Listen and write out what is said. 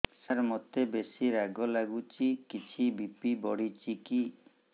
ସାର ମୋତେ ବେସି ରାଗ ଲାଗୁଚି କିଛି ବି.ପି ବଢ଼ିଚି କି